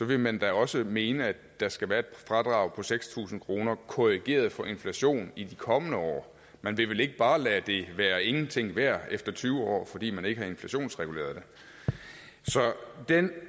vil man da også mene at der skal være et fradrag på seks tusind kroner korrigeret for inflation i de kommende år man vil vel ikke bare lade det være ingenting værd efter tyve år fordi man ikke har inflationsreguleret det så den